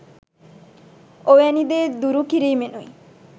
ඔවැනි දේ දුරු කිරීමෙනුයි.